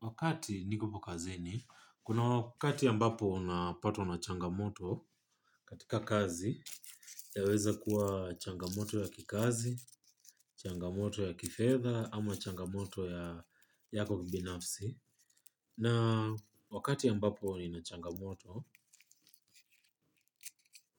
Wakati nikupo kazeni, kuna wakati ambapo unapato na changamoto katika kazi ya weza kuwa changamoto ya kikazi, changamoto ya kifedha ama changamoto ya kumbinafsi. Na wakati ya mbapo ni na changamoto,